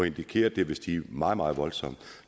indikerer at det vil stige meget meget voldsomt